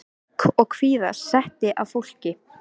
Ugg og kvíða setti að fólki.